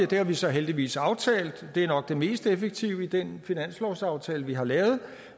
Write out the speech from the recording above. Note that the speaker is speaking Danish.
det har vi så heldigvis aftalt og det er nok det mest effektive i den finanslovsaftale vi har lavet